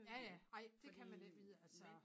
Ja ja ej det kan man ikke vide altså